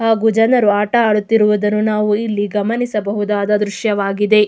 ಹಾಗು ಜನರು ಆಟ ಆಡುತ್ತಿರುವುದನ್ನು ನಾವು ಇಲ್ಲಿ ಗಮನಿಸುವ ದೃಶ್ಯವಾಗಿದೆ.